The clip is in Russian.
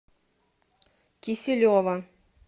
киселева